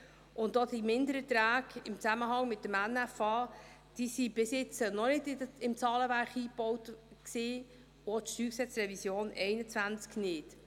Auch die Mindererträge im Zusammenhang mit dem Nationalen Finanzausgleich (NFA) waren bis jetzt noch nicht ins Zahlenwerk eingebaut, und auch die Revision des Steuergesetzes (StG) 2021 nicht.